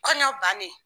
Kɔɲɔ bannen